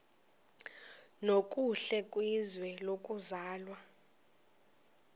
nokuhle kwizwe lokuzalwa